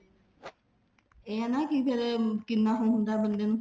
ਇਹ ਆ ਨਾ ਫ਼ੇਰ ਕਿੰਨਾ ਉਹ ਹੁੰਦਾ ਬੰਦੇ ਨੂੰ